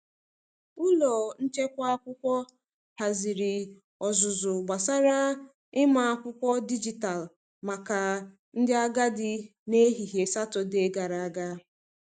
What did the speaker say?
Ụlọ nchekwa akwụkwọ haziri ọzụzụ gbasara ịma akwụkwọ dijitalụ maka ndị agadi n’ehihie Satọdee gara aga.